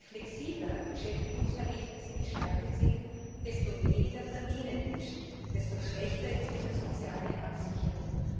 Je flexibler Beschäftigungsverhältnisse gestaltet sind, desto weniger verdienen die Menschen, desto schlechter ist ihre soziale Absicherung.